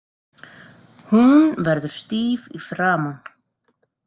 Hún verður stíf í framan.